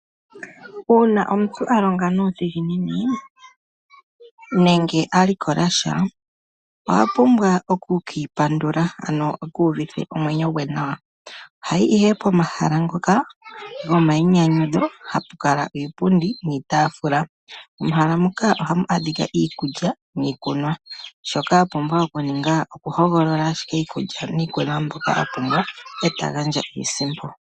Uuna omuntu alonga nudhinginini nenge alikolasha, oha pumbwa oku kipandula ano ekuvithe omwenyo ngwe nawa, ohayi ihe pomahala ngoka gomayinyanyudho hapukala iipundi niitafula mehala moka oha mu adhika iikulya niikunwa shoka wapumbwa okuninga oku hogolola ashike iikulya niikunwa mbyoka wapumbwa oto gandja iisimpo.